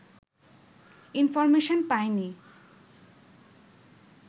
information পাইনি